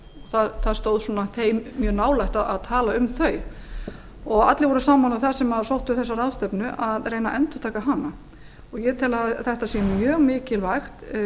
það stóð svona þeim mjög nálægt að tala um þau allir voru sammála um það sem sóttu þessa ráðstefnu við að reyna að endurtaka hana ég tel að þetta sé mjög mikilvægt